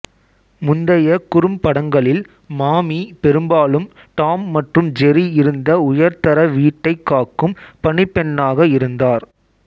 முந்தைய குறும்படங்களில் மாமி பெரும்பாலும் டாம் மற்றும் ஜெர்ரி இருந்த உயர்தர வீட்டைக் காக்கும் பணிப்பெண்ணாக இருந்தார்